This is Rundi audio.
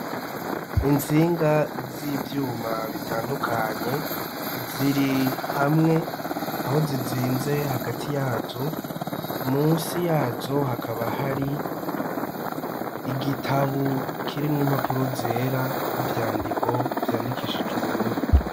Intsinga z'ivyuma bitandukanye ziri hamwe aho zizinze hagati yazo munsi yazo hakaba hari igitabu kirimwo impapuro zera n'ivyandiko vyandikishije ubururu.